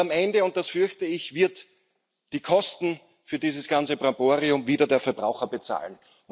Am Ende das fürchte ich wird die Kosten für dieses ganze Brimborium wieder der Verbraucher bezahlen.